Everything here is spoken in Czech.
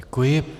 Děkuji.